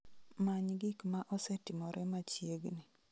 Many gik ma osetimore machiegni